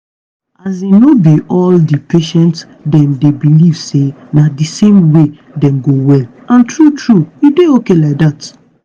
as in no be all di patient dem dey believe say na di same way dem go well and true true e dey okay like dat.